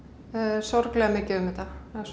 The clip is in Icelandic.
sorglega mikið um þetta